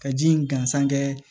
Ka ji in gansan kɛ